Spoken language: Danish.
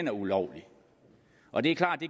er ulovlig og det er klart at